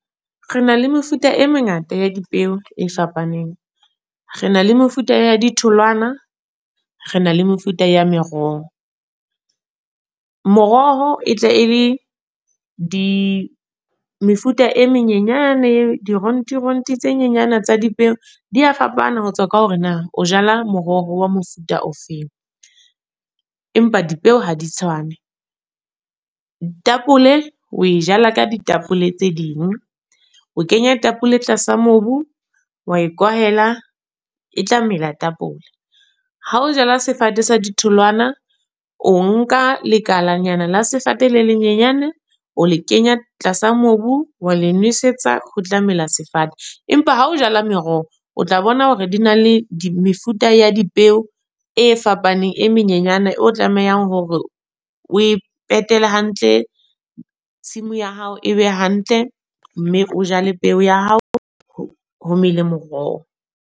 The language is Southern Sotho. Re na le mefuta e mengata ya dipeo, e fapaneng. Re na le mefuta ya di tholwana. Re na le mefuta ya meroho. Moroho e tla e le di mefuta e menyenyane e dironti ronti tse nyenyana tsa dipeo. Di a fapana ho tswa ka hore na o jala moroho wa mofuta ofeng. Empa dipeo ha di tshwane. Tapole o e jala ka ditapole tse ding. O kenya tapole tlasa mobu, wa e kwahela, e tla melao tapole. Ha o jala sefate sa di tholwana, o nka lekalanyana le sefate le lenyenyane. O le kenya tlasa mobu, wa le nosetsa ho tla mela sefate. Empa ha ho jala meroho, o tla bona hore di na le mefuta ya dipeo e fapaneng. E menyenyane o tlamehang hore o e petele hantle. Tshimo ya hao e be hantle. Mme o jale peo ya hao, ho mele moroho.